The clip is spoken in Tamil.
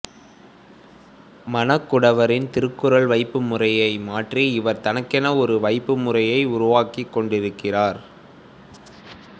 மணக்குடவரின் திருக்குறள் வைப்புமுறையை மாற்றி இவர் தனக்கென ஒர் வைப்புமுறையை உருவாக்கிக்கொண்டிருக்கிறார்